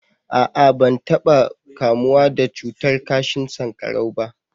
a'a ban taba kamuwa da cutar kashin sankarau ba